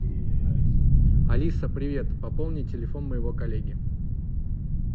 алиса привет пополни телефон моего коллеги